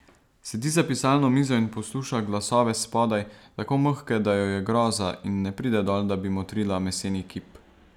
Sedi za pisalno mizo in posluša glasove spodaj, tako mehke, da jo je groza, in ne pride dol, da bi motrila meseni kip.